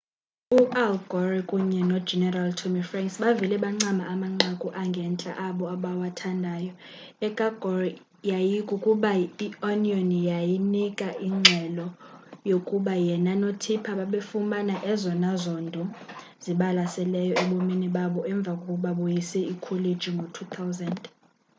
u-al gore kunye nogeneral tommy franks bavele bancama amanqaku angentla abo abawathandayo eka-gore yayikukuba i-onion yanika ingxelo yokuba yena no-tipper babefumana ezona zondo zibalaseleyo ebomini babo emva kokuba boyise ikholeji ngo-2000